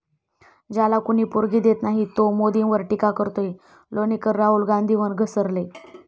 ज्याला कुणी पोरगी देत नाही, तो मोदींवर टीका करतोय', लोणीकर राहुल गांधींवर घसरले